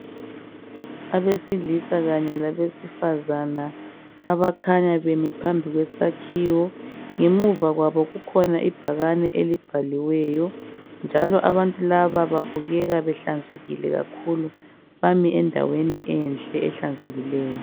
abesilisa kanye labesifazana abakhanya bemile phambi kwesakhiwi ngemuva kwabo kukhona ibhakane elibhaliweyo njalo abntu laba babukeka behlanzekile kakhulu bamile endaweni enhle ehlanzekileyo.